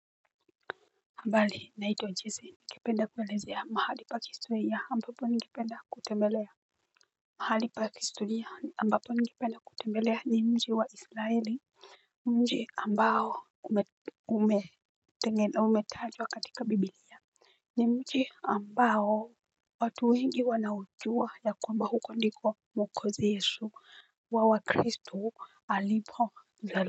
Mbali naitwa Jesi. Ningependa kuelezea mahali pa kihistoria ambapo ningependa kutembelea. Mahali pa kihistoria ambapo ningependa kutembelea ni mji wa israeli. Mji ambao ume tengena umetajwa katika bibilia. Ni mji ambao watu wengi wanaujua ya kwamba huko ndiko mwokozi yesu wa wakristu alipo zaliwa.